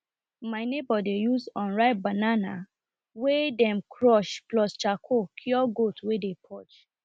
my neighbour dey use unripe banana wey dem crush plus charcoal cure goat wey dey purge